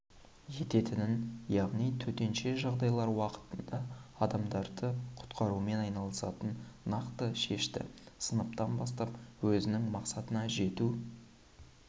ететінін яғни төтенше жағдайлар уақытында адамдарды құтқарумен айналысатынын нақты шешті сыныптан бастап өзінің мақсатына жету